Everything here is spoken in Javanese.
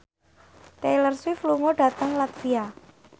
Taylor Swift lunga dhateng latvia